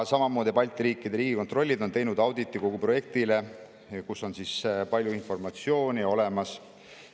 Samamoodi on Balti riikide riigikontrollid teinud auditi kogu projekti kohta ja seal on palju informatsiooni olemas.